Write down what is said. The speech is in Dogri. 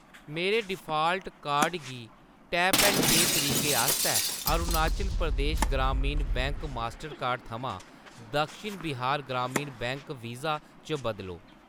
मेरे डिफाल्ट कार्ड गी टैप ऐंड पेऽ तरीके आस्तै Arunachal Pradesh Gramin bank Mastercard थमां दक्षिण बिहार ग्रामीण बैंक वीज़ा च बदलो।